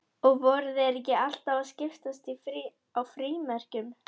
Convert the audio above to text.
Og voru þeir ekki alltaf að skiptast á frímerkjum?